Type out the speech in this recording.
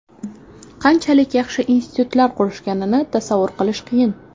Qanchalik yaxshi institutlar qurishganini tasavvur qilish qiyin.